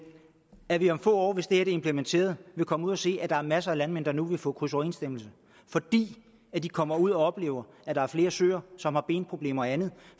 at vi om få år hvis det implementeret vil komme ud og se at der er masser af landmænd der nu vil få krydsoverensstemmelse fordi de kommer ud og oplever at der er flere søer som har benproblemer og andet